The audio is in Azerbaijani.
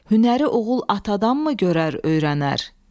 Hünəri oğul atadanmı görər öyrənər?